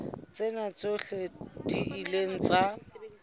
tsena tsohle di ile tsa